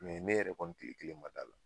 ne yɛrɛ kɔni tile kelen ma d'a la